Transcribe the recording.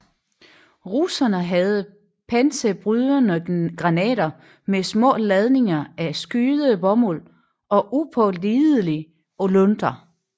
Russerne havde panserbrydende granater med små ladninger af skydebomuld og upålidelige lunter